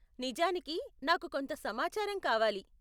నిజానికి, నాకు కొంత సమాచారం కావాలి.